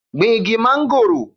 Gbin igi mangoro